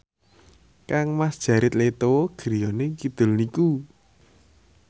kangmas Jared Leto griyane kidul niku